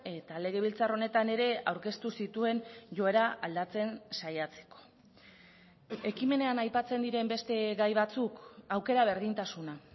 eta legebiltzar honetan ere aurkeztu zituen joera aldatzen saiatzeko ekimenean aipatzen diren beste gai batzuk aukera berdintasuna